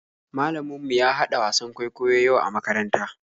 Malamin mu ya haɗa wasan kwaikwayo yau a makaranta.